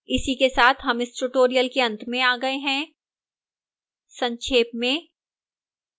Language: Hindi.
इसी के साथ हम इस tutorial के अंत में आ गए हैं संक्षेप में